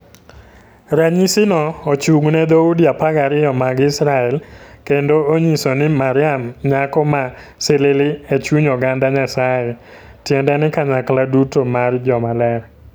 Ranyisino ochung'ne dhoudi 12 mag Israel kendo onyiso ni Mariam Nyako ma Silili e chuny oganda Nyasaye, tiende ni kanyakla duto mar joma ler.